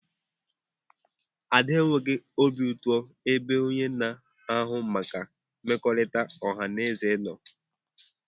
Ada enweghị obi ụtọ ebe onye na-ahụ maka mmekọrịta ọha na eze nọ.